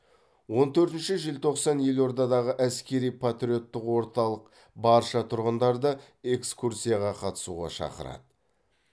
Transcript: он төртінші желтоқсан елордадағы әскери патриоттық орталық барша тұрғындарды экскурсияға қатысуға шақырады